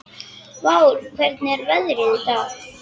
Vár, hvernig er veðrið í dag?